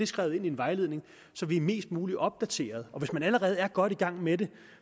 skrevet ind i en vejledning så vi er mest muligt opdateret hvis man allerede er godt i gang med det